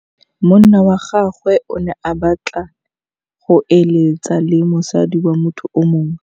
Monna wa gagwe o ne a batla go êlêtsa le mosadi wa motho yo mongwe.